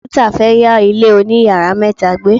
Martha fe ya ile oniyaara meta gbe.